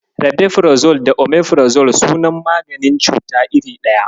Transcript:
Rabefirazol da Omefirazol suna maganin cuta iri ɗaya.